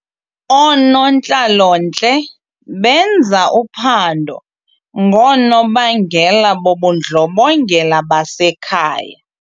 Oonontlalontle benza uphando ngoonobangela bobundlobongela basekhaya.